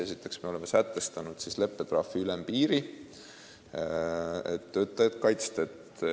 Esiteks oleme sätestanud leppetrahvi ülempiiri, et töötajat kaitsta.